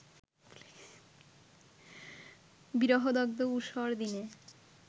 বিরহদগ্ধ ঊষর দিনে